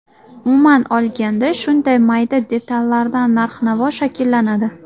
Umuman olganda, shunday mayda detallardan narx-navo shakllanadi.